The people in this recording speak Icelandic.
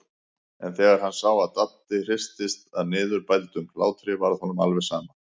En þegar hann sá að Dadda hristist af niðurbældum hlátri varð honum alveg sama.